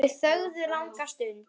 Þau þögðu langa stund.